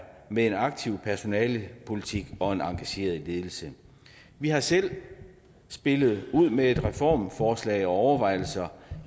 med en aktiv personalepolitik og en engageret ledelse vi har selv spillet ud med et reformforslag og overvejelser